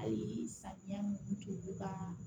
Ayi samiya mun tɛ olu ka